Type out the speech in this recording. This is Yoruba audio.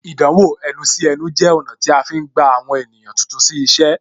Ìdánwò ẹnu sí ẹnu jẹ ọ̀nà tí a fi ń gba àwọn ènìyàn tuntun sí iṣẹ́